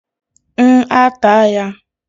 n ata ya?